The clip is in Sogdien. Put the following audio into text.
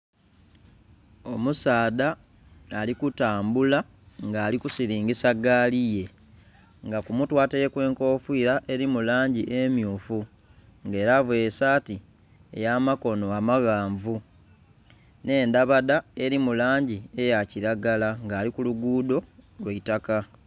Omusaadha ali kutambula nga ali kusilingisa egaali ye nga ku mutwe ataireku enkofira eri mu langi emyufu nga era avaire saati eya makono amaghanvu nhe endhabadha eri mulangi eya kilagala nga ali ku lugudho lwaitaka.